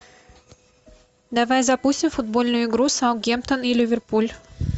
давай запустим футбольную игру саутгемптон и ливерпуль